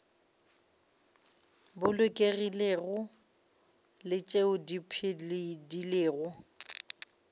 bolokegilego le tšeo di phedilego